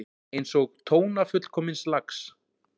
Einsog tóna fullkomins lags.